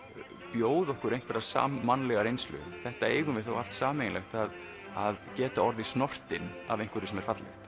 bjóða okkur einhverja sammannlega reynslu þetta eigum við þó allt sameiginlegt að geta orðið snortinn af einhverju sem er fallegt